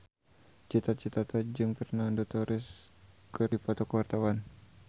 Cita Citata jeung Fernando Torres keur dipoto ku wartawan